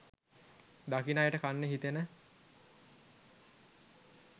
දකින අයට කන්න හිතෙන